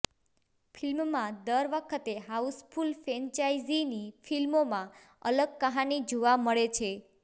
ફિલ્મમાં દર વખતે હાઉસફુલ ફ્રેન્ચાઇઝીની ફિલ્મોમાં અલગ કહાની જોવા મળે છે